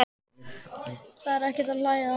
Þetta er ekkert til að hlæja að!